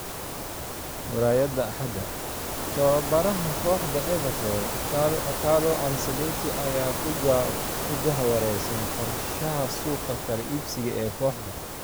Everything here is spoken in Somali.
(Murayada axada) Tababaraha kooxda Everton Carlo Ancelotti ayaa ku jahwareersan qorshaha suuqa kala iibsiga ee kooxda.